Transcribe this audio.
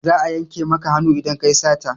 Za a yanke maka hannu idan ka yi sata.